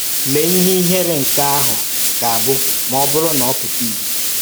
Lee ihe ị̀hèré nke ahụ ga-abụ ma ọ bụrụ na ọ pụta ìhè